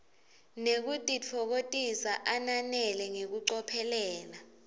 nekutitfokotisa ananele ngekucophelela